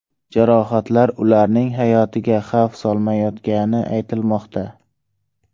Jarohatlar ularning hayotiga xavf solmayotgani aytilmoqda.